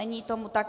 Není tomu tak.